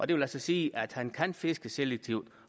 det vil altså sige at han kan fiske selektivt